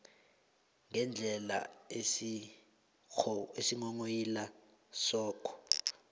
ngendlela isinghonghoyilo sakho